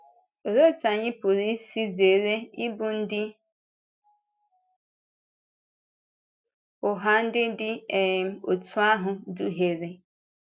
Òlee otú anyị pụrụ isi zere ịbụ ndị ụgha ndị dị um otú ahụ ịdùhìere?